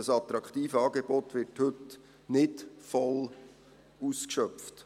Dieses attraktive Angebot wird heute nicht voll ausgeschöpft.